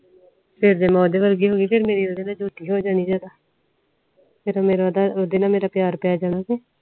ਫੇਰ ਤੇ ਮੈਂ ਓਦੇ ਵਰਗੀ ਹੋਗੇ ਫੇਰ ਮੇਰੀ ਓਹਦੇ ਨਾਲ ਦੋਸਤੀ ਹੋ ਜਨੀ ਜਦੋ ਫੇਰ ਮੇਰਾ ਓਦੇ ਨਾਲ ਪੀਰ ਪੈ ਜਾਣਾ